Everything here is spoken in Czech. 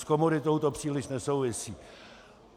S komoditou to příliš nesouvisí.